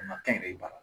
A na kɛnyɛrɛye bara